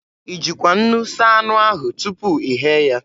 I jikwa nnu saa anụ ahụ tupu ị ghee ya?